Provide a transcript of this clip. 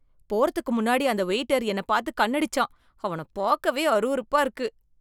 போறதுக்கு முன்னாடி அந்த வெயிட்டர் என்னப் பாத்து கண்ணடிச்சான். அவனப் பாக்கவே அருவருப்பா இருக்கு.